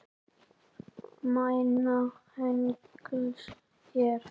Mæna hengils hér.